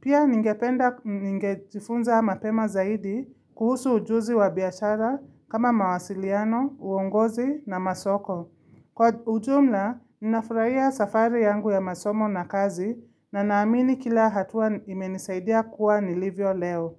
Pia ningependa ningetifunza mapema zaidi kuhusu ujuzi wa biashara kama mawasiliano, uongozi na masoko. Kwa ujumla, ninafuraia safari yangu ya masomo na kazi na naamini kila hatua imenisaidia kuwa nilivyo leo.